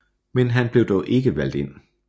Men han blev dog ikke valgt ind